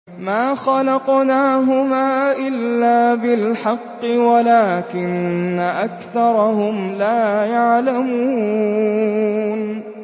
مَا خَلَقْنَاهُمَا إِلَّا بِالْحَقِّ وَلَٰكِنَّ أَكْثَرَهُمْ لَا يَعْلَمُونَ